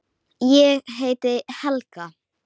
Skilaðu kveðju til ömmu þinnar.